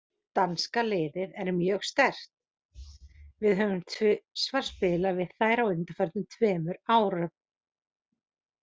Danska liðið er mjög sterkt, við höfum tvisvar spilað við þær á undanförnum tveimur árum.